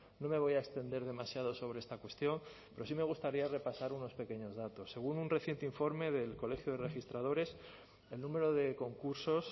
no me voy a extender demasiado sobre esta cuestión pero sí me gustaría repasar unos pequeños datos según un reciente informe del colegio de registradores el número de concursos